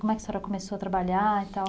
Como é que a senhora começou a trabalhar e tal?